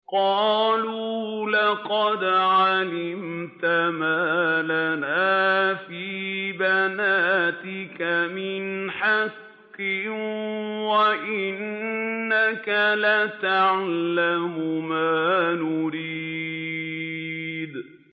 قَالُوا لَقَدْ عَلِمْتَ مَا لَنَا فِي بَنَاتِكَ مِنْ حَقٍّ وَإِنَّكَ لَتَعْلَمُ مَا نُرِيدُ